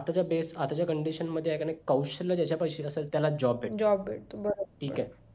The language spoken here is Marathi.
आताच्या base आताच्या condition मध्ये आहे कि नाही कौशल्य ज्याच्या पाशी आहे त्याला job भेटते ठीक आहे